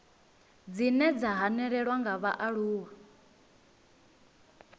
dzine dza hanelelwa nga vhaaluwa